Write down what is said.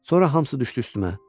Sonra hamısı düşdü üstümə.